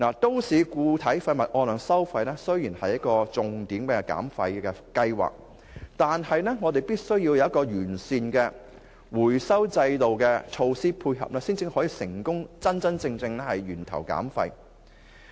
都市固體廢物按量收費雖是政府的重點減廢計劃，但我們亦必須有完善的回收制度和措施配合，才可真正成功做到源頭減廢。